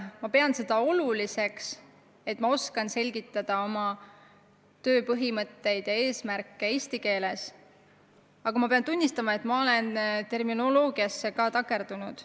Ma pean siiski oluliseks, et ma oskan selgitada oma töö põhimõtteid ja eesmärke eesti keeles, aga pean tunnistama, et olen seda tehes vahel terminoloogiasse takerdunud.